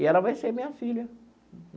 E ela vai ser minha filha.